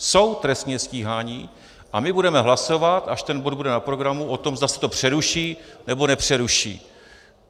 Jsou trestně stíháni a my budeme hlasovat, až ten bod bude na programu, o tom, zda se to přeruší, nebo nepřeruší.